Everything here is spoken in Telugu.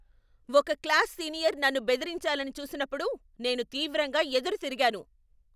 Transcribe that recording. ఒక క్లాస్ సీనియర్ నన్ను బెదిరించాలని చూసినప్పుడు నేను తీవ్రంగా ఎదురుతిరిగాను.